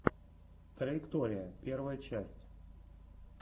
траектория первая часть